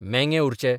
मेंगे उरचे